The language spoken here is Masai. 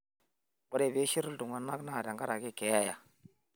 ore piishirr iltung'anak naa tenkaraki keeya